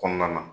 Kɔnɔna na